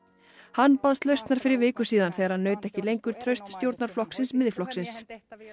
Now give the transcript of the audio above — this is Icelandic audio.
hann baðst lausnar fyrir viku síðan þegar hann naut ekki lengur trausts stjórnarflokksins Miðflokksins